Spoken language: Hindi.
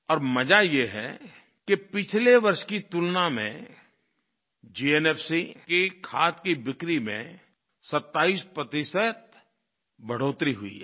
और मज़ा यह है कि पिछले वर्ष की तुलना में जीएनएफसी की खाद की बिक्री में 27 प्रतिशत बढ़ोतरी हुई है